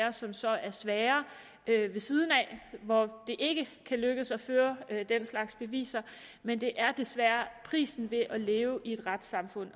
af som så er sværere og hvor det ikke kan lykkes at føre den slags beviser men det er desværre prisen ved at leve i et retssamfund